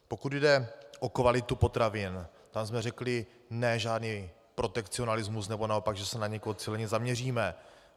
Pokud jde o kvalitu potravin, tam jsme řekli ne, žádný protekcionalismus, nebo naopak že se na někoho cíleně zaměříme.